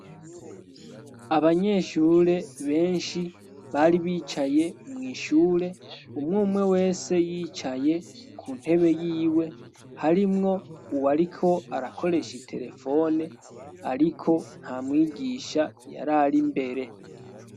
Abanyeshure benshi bari bicaye mw'ishure, umwe umwe wese yicaye ku ntebe y'iwe. Harimwo uwo ariko arakoresha iterefone, ariko nta mwigisha y'ari ari mbere.